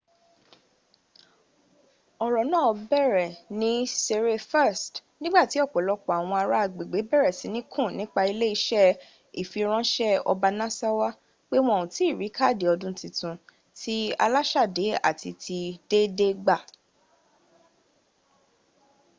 oro naa bere ni sere 1st nigbati opolopo awon ara agbegbe bere sini kun nipa ile ise ifiranse obanasawa pe won o tii ri kaadi odun titun ti alasade ati ti deede gba